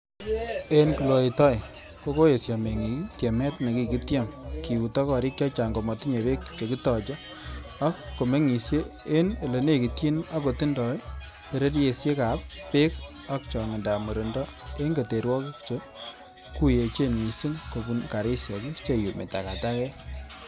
En kloy Toey, Ko koyesho meng'ik tiemet nekiketiem kiuto, gorik chechang komotinye beek chekitoche, ak ko meng'isie en ele nekityini ak kotindoi beresisiekab ab beek ak chong'indab murindo en keterwogik che kuyuchen missing kobun garisiek che iyumi takatakek.